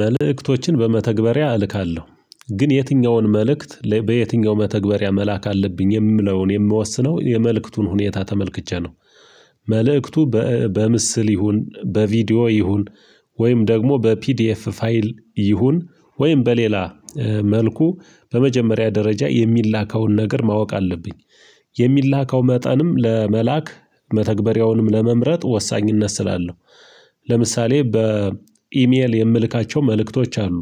መልእክቶችን በመተግበሪያ እልካለሁ ግን የትኛውን መልእክት በየትኛው መተግበሪያ መላክ አለብኝ የምለውን የምወስነው የመልእክቱን ሁኔታ ተመልክቼ ነው። መልእክቱ በምስል ይሁን በቪዲዮ ይሁን ወይም ደግሞ በፒዲኤፍ ፋይል ይሁን ወይም በሌላ መልኩ በመጀመሪያ ደረጃ የሚላከውን ነገር ማወቅ አለብኝ። የሚላከው መጠንም ለመላክ መተግበሪያውንም ለመምረጥ ወሳኝነት ስላለው ለምሳሌ በኢሜል የምልካቸው መልእክቶች አሉ።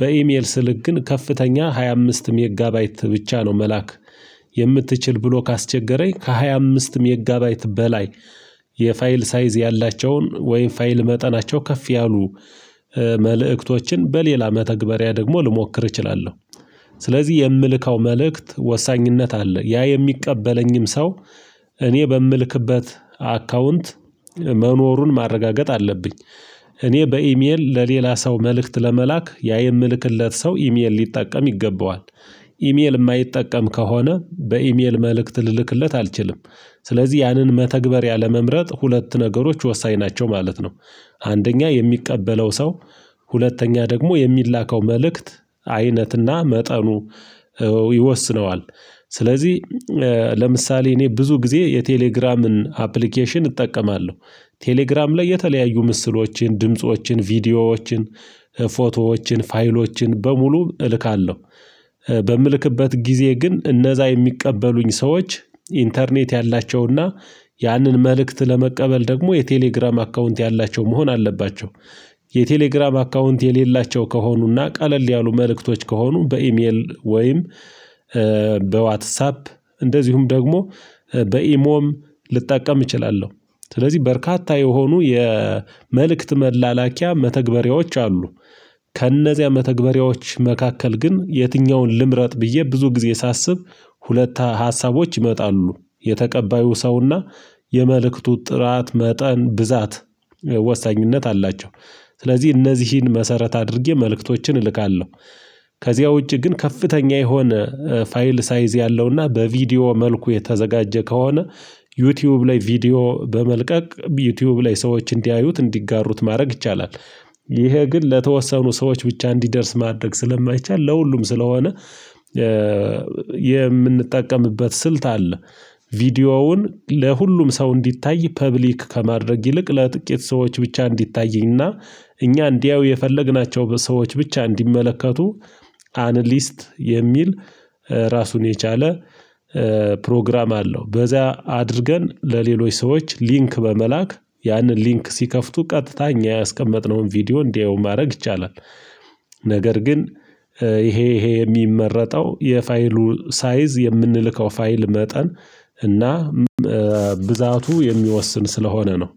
በኢሜል ስልክ ግን ከፍተኛ ሃያ አምስት የሚጋባይት ብቻ ነው መላክ። የምትችል ብሎ ካስቸገረኝ ከሃያ አምስት ሜጋባይት በላይ የፋይል ሳይዝ ያላቸውን ወይም ፋይል መጠናቸው ከፍ ያሉ መልእክቶችን በሌላ መተግበሪያ ደግሞ ልሞክር እችላለሁ። ስለዚህ የምልከው መልእክት ወሳኝነት አለ ያ የሚቀበለኝም ሰው እኔ በምልክበት አካውንት መኖሩን ማረጋገጥ አለብኝ። እኔ በኢሜል ለሌላ ሰው መልእክት ለመላክ ያ የምልክለት ሰው ኢሜል ሊጠቀም ይገባዋል። ኢሜል የማይጠቀም ከሆነ በኢሜል መልእክት ልልክለት አልችልም። ስለዚህ ያንን መተግበርያ ለመምረጥ ሁለት ነገሮች ወሳኝ ናቸው ማለት ነው። አንደኛ የሚቀበለው ሰው ሁለተኛ ደግሞ የሚላከው መልእክት አይነትና መጠኑ ይወስነዋል። ስለዚህ ለምሳሌ እኔ ብዙ ጊዜ የቴሌግራምን አፕሊኬሽን እጠቀማለሁ ቴሌግራም ላይ የተለያዩ ምስሎችን ድምፆችን ቪዲዮዎችን ፎቶዎችን ፋይሎችን በሙሉ እልካለሁ። በምልክበት ጊዜ ግን እነዛ የሚቀበሉኝ ሰዎች ኢንተርኔት ያላቸውና ያንን መልእክት ለመቀበል ደግሞ የቴሌግራም አካውንት ያላቸው መሆን አለባቸው። የቴሌግራም አካውንት የሌላቸው ከሆኑና ቀለል ያሉ መልእክቶች ከሆኑ በኢሜል ወይም በዋትሳፕ እንደዚሁም ደግሞ በኢሞም ልጠቀም እችላለሁ። ስለዚህ በርካታ የሆኑ የመልእክት መላላኪያ መተግበሪያዎች አሉ። ከእነዚያ መተግበሪያዎች መካከል ግን የትኛውን ልምረጥ ብዬ ብዙ ጊዜ ሳስብ ሁለት ሀሳቦች ይመጣሉ የተቀባዩ ሰውና የመልእክቱ ጥራት መጠን ብዛት ወሳኝነት አላቸው። ስለዚህ እነዚህን መሰረት አድርጌ መልእክቶችን እልካለሁ። ከዚያ ውጪ ግን ከፍተኛ የሆነ ፋይል ሳይዝ ያለውና በቪዲዮ መልኩ የተዘጋጀ ከሆነ ዩቲዩብ ላይ ቪዲዮ በመልቀቅ ዩቲዩብ ላይ ሰዎች እንዲያዩት እንዲጋሩት ማድረግ ይቻላል። ይሄ ግን ለተወሰኑ ሰዎች ብቻ እንዲደርስ ማድረግ ስለማይቻል ለሁሉም ስለሆነ የምንጠቀምበት ስልት አለ። ቪዲዮውን ለሁሉም ሰው እንዲታይ ፐብሊክ ከማድረግ ይልቅ ለጥቂት ሰዎች ብቻ እንዲታይና እኛ እንዲያዩ የፈለግናቸው ሰዎች ብቻ እንዲመለከቱ አንሊስት የሚል ራሱን የቻለ ፕሮግራም አለው በዚያ አድርገን ለሌሎች ሰዎች ሊንክ በመላክ ያንን ሊንክ ሲከፍቱ ቀጥታ እኛ ያስቀመጥነውን ቪዲዮ እንዲያዩ ማድረግ ይቻላል። ነገር ግን ይሄ ይሄ የሚመረጠው የፋይሉ ሳይዝ የምንልከው ፋይል መጠን እና ብዛቱ የሚወስን ስለሆነ ነው